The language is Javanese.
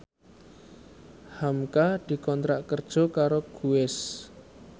hamka dikontrak kerja karo Guess